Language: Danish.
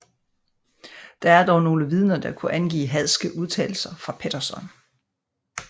Der er dog nogle vidner der kunne angive hadske udtalelser fra Pettersson